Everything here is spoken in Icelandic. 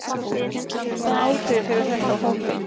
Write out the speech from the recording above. Hvaða áhrif hefur þetta á hópinn?